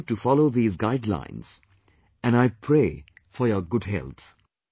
I urge you to follow these guidelines and I pray for your good health